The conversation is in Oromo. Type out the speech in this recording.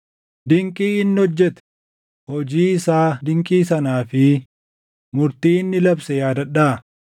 Dinqii inni hojjete, hojii isaa dinqii sanaa fi murtii inni labse yaadadhaa;